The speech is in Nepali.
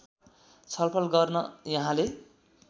छलफल गर्न यहाँले